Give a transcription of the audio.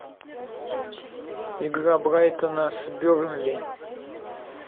игра брайтона с бернли